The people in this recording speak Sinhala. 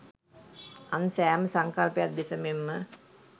අන් සෑම සංකල්පයක් දෙස මෙන්ම